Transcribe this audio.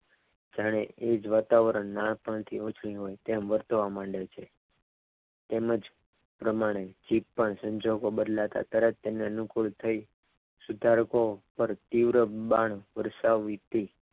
જાણે એ જ વાતાવરણના પંખીઓની જેમ વર્તવા માંડે છ તેમનો પ્રમાણે જીભ પણ સંજોગો બદલાતા જાય છે તેમને અનુકૂળ થઈ સિતારકો પર તીવ્ર બાણ વરસાવી હતી.